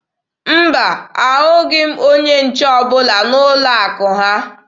Mba, ahụghị m onye nche ọbụla n'ụlọ akụ ha.